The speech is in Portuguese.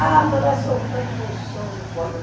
Ah, mas nós soltamos rojão, meu filho.